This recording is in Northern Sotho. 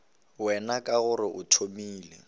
wena ka gore o tumile